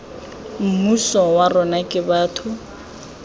mmuso wa rona ke batho